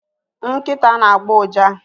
Nkịta na-agbọ ụja